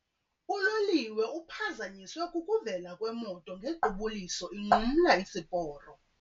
Uloliwe uphazanyiswe kukuvela kwemoto ngequbuliso inqumla isiporo.